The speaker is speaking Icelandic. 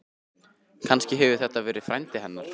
Kannski hefur þetta verið frændi hennar?